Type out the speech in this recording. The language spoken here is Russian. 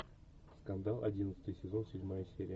скандал одиннадцатый сезон седьмая серия